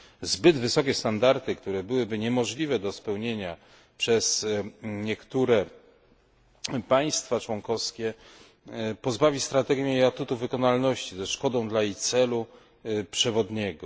Zbyt wysokie standardy, które byłyby niemożliwe do spełnienia przez niektóre państwa członkowskie, pozbawią strategię jej atutu wykonalności ze szkodą dla jej celu przewodniego.